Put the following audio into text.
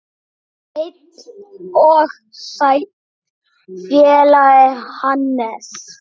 Heill og sæll félagi Hannes!